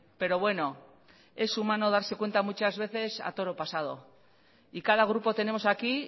pero bueno es humano darse cuenta muchas veces a toro pasado y cada grupo tenemos aquí